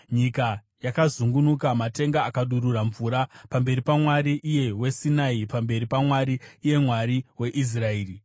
nyika yakazungunuka, matenga akadurura mvura, pamberi paMwari, iye weSinai, pamberi paMwari, iye Mwari waIsraeri.